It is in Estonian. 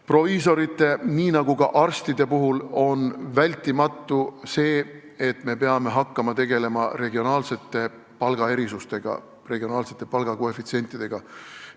Proviisorite nii nagu ka arstide puhul on vältimatu see, et me peame hakkama tegelema regionaalsete palgaerisustega, koefitsientidega.